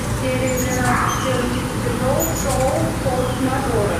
серия двенадцать четырнадцатый сезон шоу форс мажоры